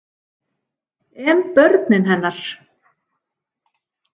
En börnin hennar?